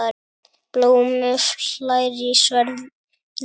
Blómi hlær í sverði.